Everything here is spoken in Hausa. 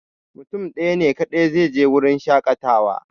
Mutum ɗaya ne kaɗai zai je wurin shaƙatawa